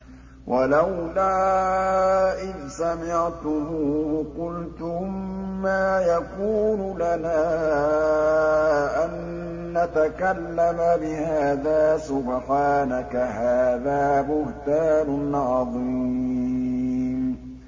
وَلَوْلَا إِذْ سَمِعْتُمُوهُ قُلْتُم مَّا يَكُونُ لَنَا أَن نَّتَكَلَّمَ بِهَٰذَا سُبْحَانَكَ هَٰذَا بُهْتَانٌ عَظِيمٌ